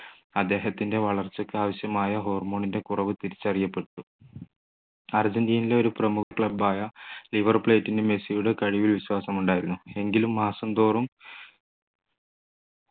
അദ്ദേഹത്തിൻ്റെ വളർച്ചയ്ക്ക് ആവശ്യമായ hormone ൻ്റെ കുറവ് തിരിച്ചറിയപ്പെട്ടു അർജൻറീനയിലെ ഒരു പ്രമുഖ club ആയ ലിവർ പ്ലേറ്റിനു മെസ്സിയുടെ കഴിവില്‍ വിശ്വാസമുണ്ടായിരുന്നു എങ്കിലും മാസം തോറും